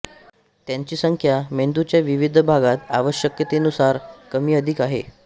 त्यांची संख्या मेंदूच्या विविध भागात आवश्यकतेनुसार कमी अधिक आहे